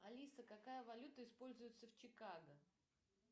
алиса какая валюта используется в чикаго